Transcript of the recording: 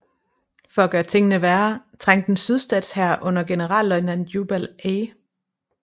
For at gøre tingene værre trængte en sydstatshær under generalløjtnant Jubal A